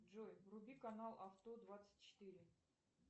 джой вруби канал авто двадцать четыре